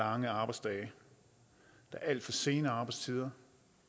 lange arbejdsdage der er alt for sene arbejdstider